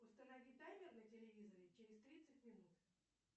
установи таймер на телевизоре через тридцать минут